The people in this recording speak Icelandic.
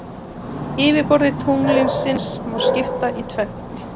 Yfirborði tunglsins má skipta í tvennt.